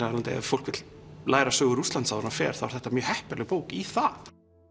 af leiðandi ef fólk vill læra sögu Rússlands áður en það fer þá er þetta mjög heppileg bók í það